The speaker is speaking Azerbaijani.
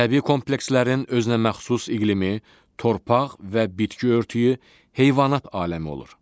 Təbii komplekslərin özünəməxsus iqlimi, torpaq və bitki örtüyü, heyvanat aləmi olur.